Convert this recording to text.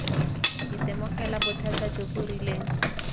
itemogela bothata jo bo rileng